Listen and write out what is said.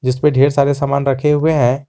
इस पे ढेर सारे सामान रखे हुए हैं।